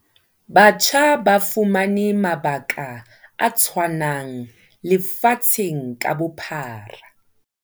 Batjha ba fumane mabaka a tshwanang lefatsheng ka bophara.